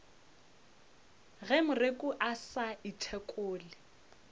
ge moreku a sa ithekole